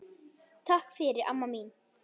Takk fyrir, amma mín.